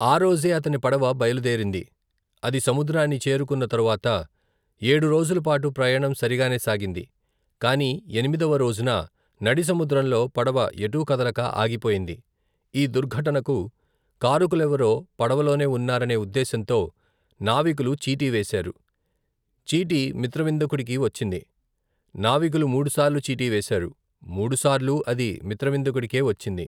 ఆ రోజే అతని పడవ బయలుదేరింది. అది సముద్రాన్ని చేరుకున్న తరువాత ఏడు రోజులపాటు ప్రయాణం సరిగానే సాగింది.కాని ఎనిమిదవ రోజున నడిసముద్రంలో పడవ ఎటూ కదలక ఆగిపోయింది. ఈ దుర్ఘటనకు కారకులెవరో పడవలోనే వున్నారనే ఉద్దేశంతో నావికులు చీటీ వేశారు. చీటీ మిత్రవిందకుడికి వచ్చింది. నావికులు ముడుసార్లు చీటీ వేశారు. మూడుసార్లూ అది మిత్రవిందకుడికే వచ్చింది.